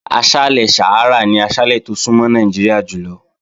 Aṣálẹ̀ Sàhárà ni aṣálẹ̀ tó súnmọ́ Nàìjíríà jùlọ.